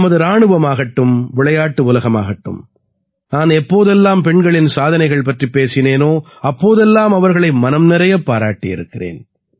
நமது இராணுவமாகட்டும் விளையாட்டு உலகமாகட்டும் நான் எப்போதெல்லாம் பெண்களின் சாதனைகள் பற்றி பேசினேனோ அப்போதெல்லாம் அவர்களை மனம் நிறையப் பாராட்டியிருக்கிறேன்